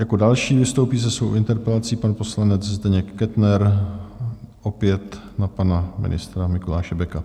Jako další vystoupí se svou interpelací pan poslanec Zdeněk Kettner, opět na pana ministra Mikuláše Beka.